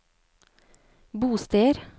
bosteder